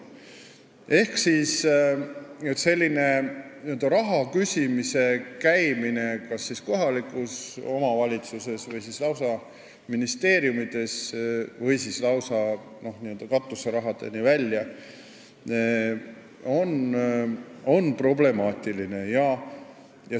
Ehk selline raha küsimas käimine kas kohalikes omavalitsustes või lausa ministeeriumides n-ö katuserahani välja on problemaatiline.